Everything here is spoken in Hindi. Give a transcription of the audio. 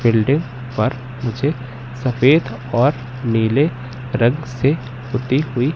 बिल्डिंग पर मुझे सफेद और नीले रंग से पुती हुई--